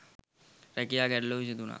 රැකියා ගැටලූව විසඳුණා.